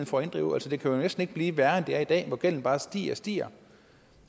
for at inddrive det kan jo næsten ikke blive værre end det er i dag hvor gælden bare stiger og stiger